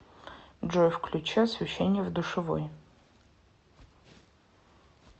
джой включи освещение в душевой